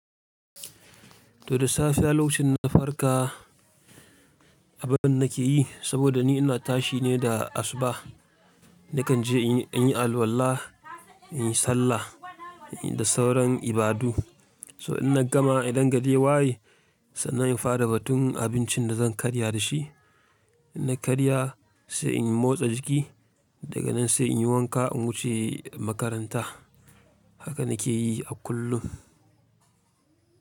To da safiya lokacin na farka, abun da nake yi saboda ni ina tashi ne da asuba. Nakan je in yi alwala, in yi sallah, in yi da sauran ibadu. To inna gama, idan gari ya waye sannan in fara batun abincin da zan karya da shi. Na karya sai in motsa jiki daga nan sai in yi wanka in wuce makaranta. Haka na ke yi a kullum.